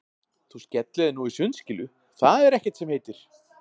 Þú skellir þér nú í sundskýlu, það er ekkert sem heitir!